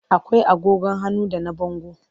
Akwai agogon hannu da na bango.